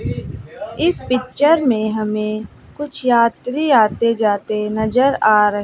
इस पिक्चर में हमें कुछ यात्री आते जाते नजर आ र--